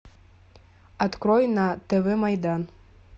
открой на тв майдан